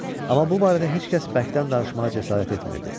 Ama bu barədə heç kəs bəkdən danışmağa cəsarət etmirdi.